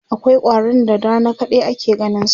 akwai ƙwarin da da Rana kadai ake ganinsu